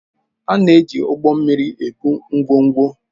A na-eji ụgbọ mmiri ebu ngwongwo